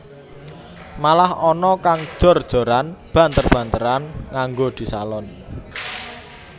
Malah ana kang jor joran banter banteran nganggo disalon